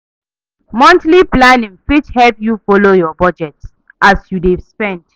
Monthly planning fit help yu folo yur bujet as yu dey spend